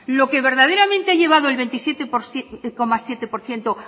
lo que verdaderamente ha llevado al veintisiete coma siete por ciento